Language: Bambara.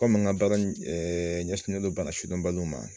Komi n ka baara in ɲɛsinen don bana sidɔnbali ma.